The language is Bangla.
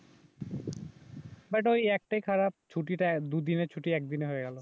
বাট ওই একটাই খারাপ ছুটিটা দুদিনের ছুটি এক দিনে হয়ে গেল